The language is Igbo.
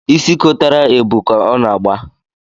Isi kotara ebu ka ọ na-agba